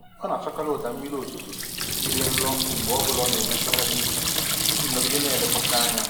Ọ na-achọkarị ụda mmiri ozuzo dị nro mgbe ọbụla ọ na-eme ntụgharị uche iji nọgide na-elekwasị anya.